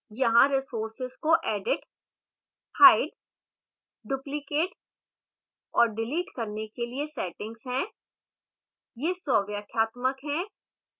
यहां resource को edit hide duplicate और delete करने के लिए settings है